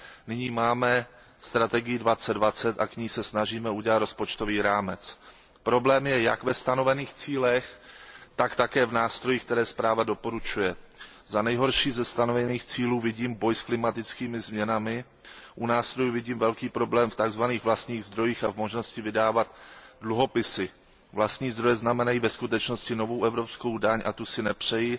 Nyní máme strategii 2020 a k ní se snažíme udělat rozpočtový rámec. Problém je jak ve stanovených cílech, tak také v nástrojích, které zpráva doporučuje. Za nejhorší ze stanovených cílů považuji boj s klimatickými změnami, u nástrojů vidím velký problém v tzv. vlastních zdrojích a v možnosti vydávat dluhopisy. Vlastní zdroje znamenají ve skutečnosti novou evropskou daň a tu si nepřeji.